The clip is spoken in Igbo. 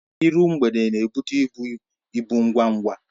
Iru mgbede n'ebute ibu ibu ngwa ngwa